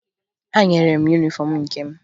Ha nyere m yunifọmụ nke m